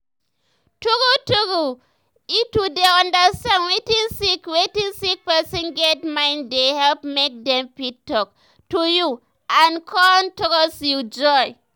true true eh to dey understand wetin sick wetin sick person get mind dey help make dem fit talk to you and con trust you join.